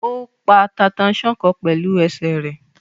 Ó pa tata-n-sánkọ pẹ̀lú ẹsẹ̀ rẹ̀.